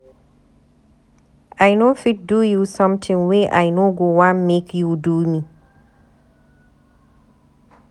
I no fit do you sometin wey I no go wan make you do me.